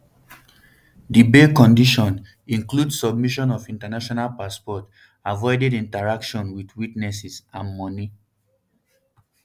di bail condition include submission of international passports avoiding interaction wit witnesses and money